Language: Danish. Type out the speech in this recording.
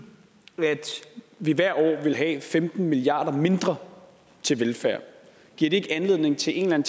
vi hvert år ville have femten milliard kroner mindre til velfærd giver det ikke anledning til en